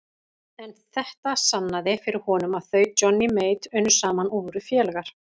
En þetta sannaði fyrir honum að þau Johnny Mate unnu saman og voru félagar.